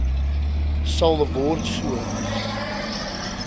sal word so